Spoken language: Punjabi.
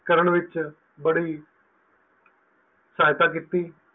ਕਰਨ ਵਿੱਚ ਬੜੀ ਸਹਾਇਤਾ ਕੀਤੀ